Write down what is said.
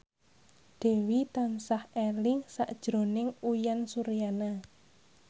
Dewi tansah eling sakjroning Uyan Suryana